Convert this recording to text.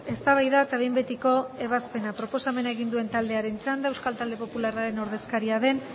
eztabaida eta behin betiko ebazpena proposamena egin duen taldearen txanda euskal talde popularraren ordezkaria den